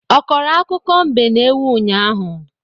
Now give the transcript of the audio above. Ọ kọrọ akụkọ mbe na ewu ụnyaahụ?